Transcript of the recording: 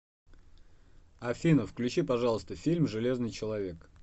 афина включи пожалуйста фильм железный человек